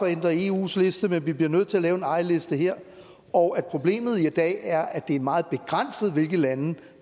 at ændre eus liste men vi bliver nødt til at lave en egen liste her og at problemet i dag er at det er meget begrænset hvilke lande